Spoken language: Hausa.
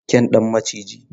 Kyan dan maciji.